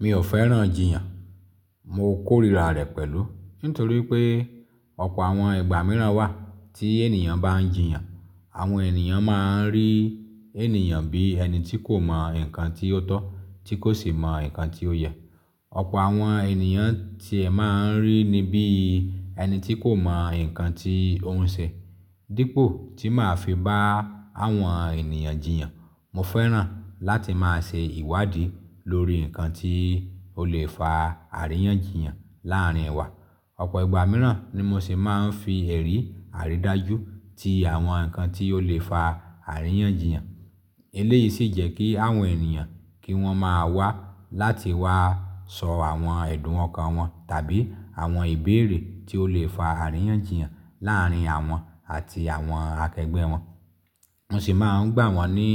Mi ò fẹ́ràn jiyàn. Mo kórìíra rẹ̀ pẹ̀lú, nítorí pé ọ̀pọ̀ àwọn ìgbà mìíràn wà tí ènìyàn bá ń jiyàn, àwọn ènìyàn máa ń rí ènìyàn bí ẹni tí kò mọ nǹkan tí ó tọ́, tí kò sì mọ nǹkan tí ó yẹ. Ọ̀pọ̀ àwọn ènìyàn ti ẹ máa ń rí ni bí ẹni tí kò mọ nǹkan tí ó ń ṣe. Dípò tí màá fi bá àwọn ènìyàn jiyàn, mo fẹ́ràn láti máa ṣe ìwádìí lórí nǹkan tí ó lè fa àríyànjiyàn láàárín wa. Ọ̀pọ̀ ìgbà mìíràn ni mo sì máa ń fi ẹ̀rí àrídájú ti àwọn nǹkan tí ó lè fa àríyànjiyàn. Eléyìí sì jẹ́ kí àwọn ènìyàn kí wọ́n máa wá láti wá sọ àwọn ẹ̀dùn ọkàn wọn tàbí àwọn ìbéèrè tí ó lè fa àríyànjiyàn láàárín àwọn àti àwọn akẹgbẹ́ wọn. Mo sì máa ń gbà wọ́n ní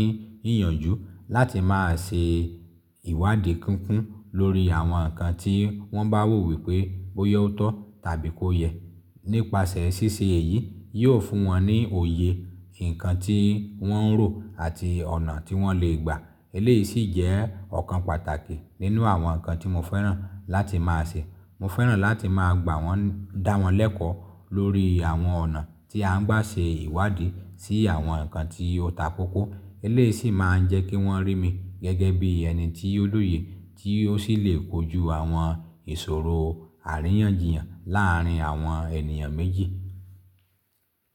íyanjú láti máa ṣe ìwádìí kúnkún lórí àwọn nǹkan tí wọ́n bá wò wípé boya ọtọ̀ tàbí kó yẹ. Nípasẹ̀ ṣíṣe èyí, yóò fún wọn ní òye nǹkan tí wọ́n ń rò àti ọ̀nà tí wọ́n lè gbà. Eléyìí sì jẹ́ ọ̀kan pàtàkì nínú àwọn nǹkan tí mo fẹ́ràn láti máa ṣe. Mo fẹ́ràn láti máa gbà wọ́n, dáwọn lẹ́kọ̀ọ́ lórí àwọn ọ̀nà tí a ń gbà ṣe ìwádìí sí àwọn nǹkan tí ó takókó. Eléyìí sì máa ń jẹ́ kí wọ́n rí mi gẹ́gẹ́ bí ẹni tí ó lóye, tí ó sì lè kojú àwọn ìṣòro àríyànjiyàn láàárín àwọn ènìyàn méjì.